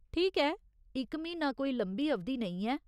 ठीक ऐ, इक म्हीना कोई लंबी अवधि नेईं ऐ।